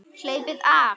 Hleypið af!